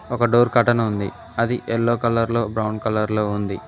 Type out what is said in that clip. ఒక door curtain ఉంది అది ఎల్లో కలర్ లో బ్రౌన్ కలర్ లో ఉంది.